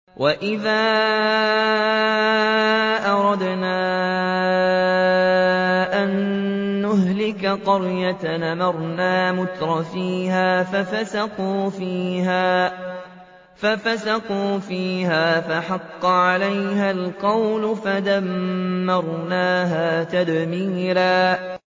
وَإِذَا أَرَدْنَا أَن نُّهْلِكَ قَرْيَةً أَمَرْنَا مُتْرَفِيهَا فَفَسَقُوا فِيهَا فَحَقَّ عَلَيْهَا الْقَوْلُ فَدَمَّرْنَاهَا تَدْمِيرًا